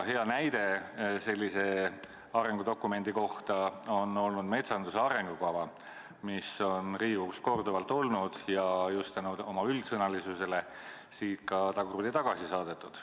Hea näide sellise arengudokumendi kohta on olnud metsanduse arengukava, mis on Riigikogus korduvalt arutusel olnud ja just oma üldsõnalisuse tõttu siit tagurpidi tagasi saadetud.